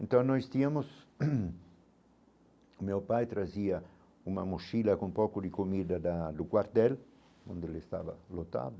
Então nós tínhamos... Meu pai trazia uma mochila com pouco de comida da do quartel, onde ele estava lotado.